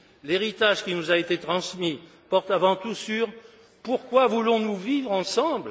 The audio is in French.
L'héritage qui nous a été transmis porte avant tout sur Pourquoi voulons nous vivre ensemble?